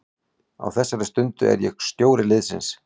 Á þessari stundu er ég stjóri liðsins.